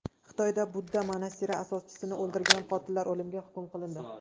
Xitoyda budda monastiri asoschisini o‘ldirgan qotillar o‘limga hukm qilindi.